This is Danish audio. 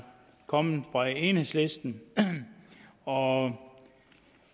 kommet fra enhedslisten og